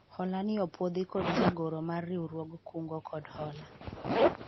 hola ni opwodhi kod jagoro mar riwruog kungo kod hola